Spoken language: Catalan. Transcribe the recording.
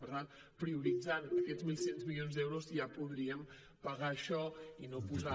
per tant prioritzant aquests mil sis cents milions d’euros ja podríem pagar això i no posar